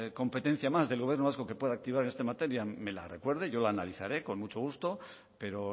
competencia más del gobierno vasco que pueda activar en esta materia me la recuerde yo la analizaré con mucho gusto pero